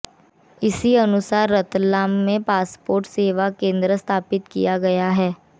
इसी अनुसार रतलाम में पासपोर्ट सेवा केन्द्र स्थापित किया गया है